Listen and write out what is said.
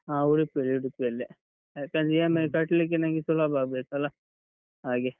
ಹಾ ಉಡುಪಿಯಲ್ಲೇ, ಉಡುಪಿಯಲ್ಲೇ. ಯಾಕಂದ್ರೆ EMI ಕಟ್ಟಲಿಕ್ಕೆ ನಂಗೆ ಸುಲಭ ಆಗ್ಬೇಕಲ್ಲ ಹಾಗೆ.